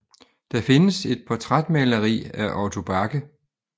Der findes et portrætmaleri af Otto Bache